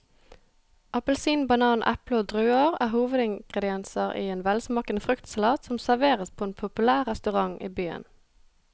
Appelsin, banan, eple og druer er hovedingredienser i en velsmakende fruktsalat som serveres på en populær restaurant i byen.